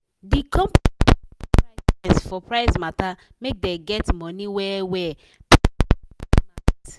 the company sense for price sense for price matter make dey get money well well plus still maintain market.